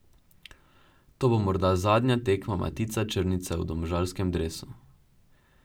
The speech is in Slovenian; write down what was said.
To bo morda zadnja tekma Matica Črnica v domžalskem dresu.